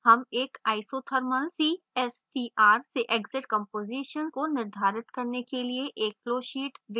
हम एक isothermal cstr से exit composition को निर्धारित करने के लिए एक flowsheet विकसित करेंगे